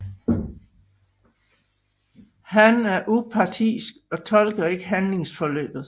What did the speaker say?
Han er upartisk og tolker ikke handlingsforløbet